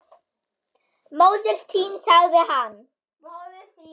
Móðir þín sagði hann.